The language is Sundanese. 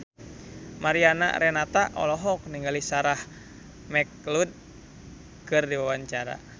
Mariana Renata olohok ningali Sarah McLeod keur diwawancara